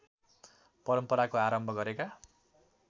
परम्पराको आरम्भ गरेका